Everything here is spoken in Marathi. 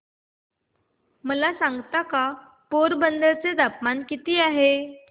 मला सांगता का पोरबंदर चे तापमान किती आहे